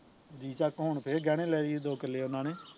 ਜੀ ਚੱਕ ਹੁਣ ਫੇਰ ਗਹਿਣੇ ਲੈ ਲਈ ਦੋ ਕਿੱਲੇ ਉਹਨਾਂ ਨੇ